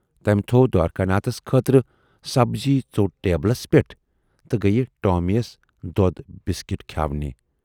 تمہِ تھَوو دوارِکا ناتھس خٲطرٕ سبزی ژوٹ ٹیبلس پٮ۪ٹھ تہٕ گٔیہِ ٹامی یس دۅد بِسکٹ کھیاونہِ۔